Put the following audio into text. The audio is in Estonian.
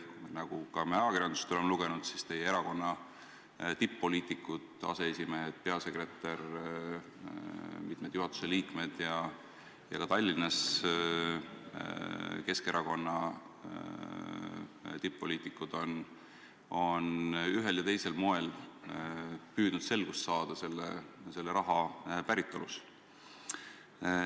Nagu me ka ajakirjandusest oleme lugenud, on teie erakonna tipp-poliitikud, aseesimehed, peasekretär ja mitmed juhatuse liikmed, samuti Tallinnas Keskerakonna tipp-poliitikud ühel ja teisel moel püüdnud selgust saada selle raha päritolus.